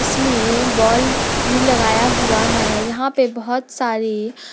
इसमें बल्ब भी लगाया हुआ है यहां पे बहोत सारी--